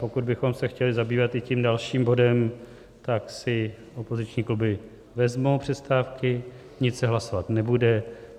Pokud bychom se chtěli zabývat i tím dalším bodem, tak si opoziční kluby vezmou přestávky, nic se hlasovat nebude.